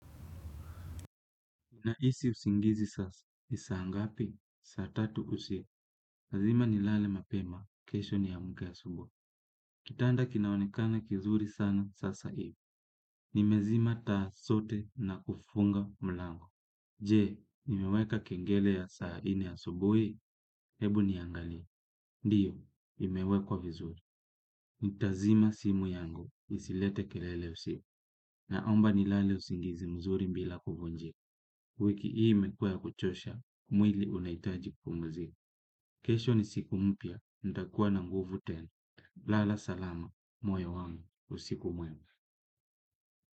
Nahisi usingizi sasa. Ni saa ngapi? Saa tatu usiku. Lazima nilale mapema. Kesho niamke asubuhi. Kitanda kinaonekana kizuri sana sasa hivi. Nimezima taa zote na kufunga mlango. Je, nimeweka kengele ya saa nne asubuhi? Hebu niangalie. Ndiyo, imewekwa vizuri. Nitazima simu yangu. Isilete kelele usiku. Naomba nilale usingizi mzuri bila kuvunjiwa. Wiki hii imekuwa ya kuchosha, mwili unahitaji kupumzika. Kesho ni siku mpya, nitakuwa na nguvu tenu. Lala salama, moyo wangu, usiku mwema.